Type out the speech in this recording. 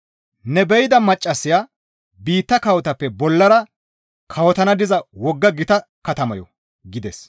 Ne be7ida maccassaya biitta kawotappe bollara kawotana diza wogga gita katamayo» gides.